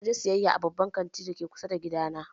Na je siyayya a babban kantin da ke kusa da gidana.